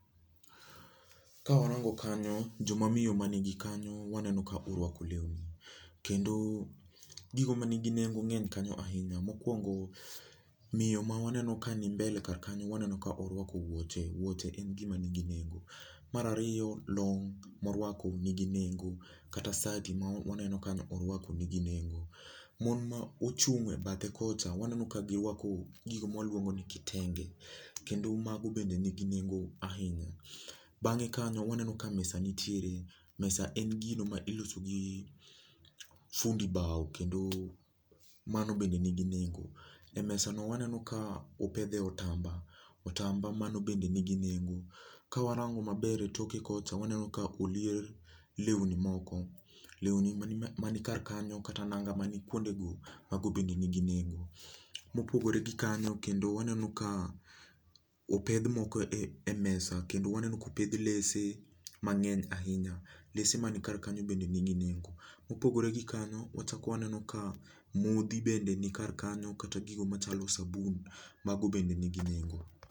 Kawarango kanyo, jomamiyo mani gikanyo waneno ka orwako lewni. Kendo, gigo ma nigi nengo ng'eny kanyo ahinya. Mokwongo, miyo ma waneno ka ni mbele kar kanyo waneno ka orwako wuoche. Wuoche en gima nigi nengo. Mar ariyo, long' morwako nigi nengo kata sati ma waneno kanyo orwako nigi nengo. Mon ma ochung' e bathe kocha waneno ka girwako gigo mwaluongo ni kitenge, kendo mago bende nigi nengo ahinya. Bang'e kanyo waneno ka mesa nitiere, mesa en gino ma iloso gi fundi bao kendo, mano bende nigi nengo. E mesano waneno ka opedhe otamba, otamba mano bende nigi nengo, kawarango maber e toke kocha waneno ka olier lewni moko. Lewni mani mani kar kanyo kata nanga mani kuonde go, mago bende nigi nengo. Mopogore gi kanyo kendo waneno ka, opedh moko e e mesa kendo waneno kopedh lese mang'eny ahinya. Lese mani kar kanyo bende nigi nengo. Mopogore gi kanyo wachak waneno ka modhi bende ni kar kanyo kata gigo machalo sabun mago bende nigi nengo